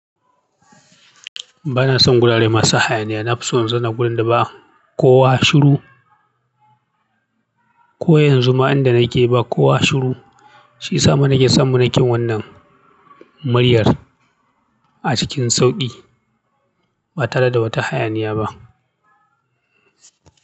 Ba na son gurare masu hayaniya. Na fi son in zauna gurin da ba kowa shiru, ko yanzu ma inda na ke ba kowa shiru. Shi ya sama na ke samu na ke wannan muryar a cikin sauƙi ba tare da wata hayaniya ba.